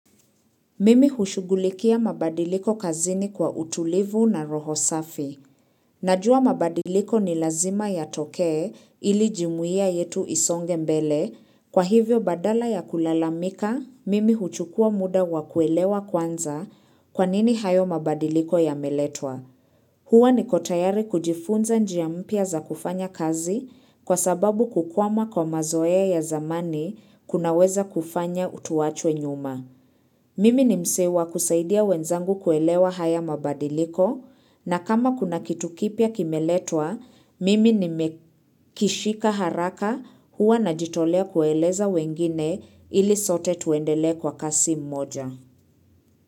Mimi hushughulikia mabadiliko kazini kwa utulivu na roho safi. Najua mabadiliko ni lazima yatokee ili jumuia yetu isonge mbele. Kwa hivyo badala ya kulalamika, mimi huchukua muda wa kuelewa kwanza kwanini hayo mabadiliko yameletwa. Huwa niko tayari kujifunza njia mpya za kufanya kazi kwa sababu kukwama kwa mazoea ya zamani kunaweza kufanya tuachwe nyuma. Mimi ni msee wa kusaidia wenzangu kuelewa haya mabadiliko na kama kuna kitu kipya kimeletwa, mimi nimekishika haraka hua najitolea kueleza wengine ili sote tuendele kwa kasi mmoja.